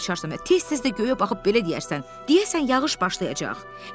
şarsan, tez-tez də göyə baxıb belə deyərsən: deyəsən yağış başlayacaq.